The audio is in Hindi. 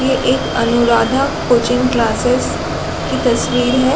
ये एक अनुराधा कोचिंग क्लासेज की तस्वीर है।